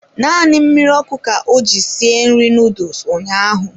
Naanị mmiri ọkụ ka o ji sie nri noodles ụnyaahụ.